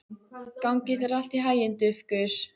Gangi þér allt í haginn, Dufgus.